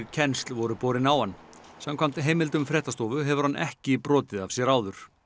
kennsl voru borin á hann samkvæmt heimildum fréttastofu hefur hann ekki brotið af sér áður